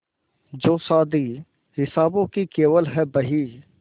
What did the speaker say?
जो शादी हिसाबों की केवल है बही